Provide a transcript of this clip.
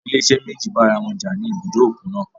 Àwọn ilé-iṣẹ́ méjì bá ara wọn jà ní ibùdó òkun náà.